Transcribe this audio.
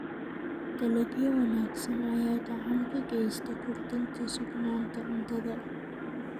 Dalagyo wanaagsan ayaa gacan ka geysta kordhinta sugnaanta cuntada.